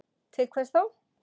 Til hvers þá?